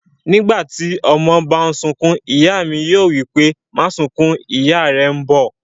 Nígbàtí ọmọ bá n sunkún, ìyá mí yóò wípé, 'máa sunkún, ìyá rẹ̀ n bọ̀'